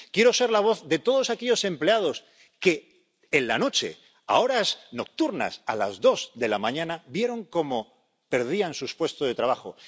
Quiero ser la voz de todos aquellos empleados que, en la noche, a horas nocturnas —a las dos de la mañana—, vieron como perdían sus puestos de trabajo.